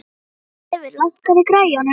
Oddleifur, lækkaðu í græjunum.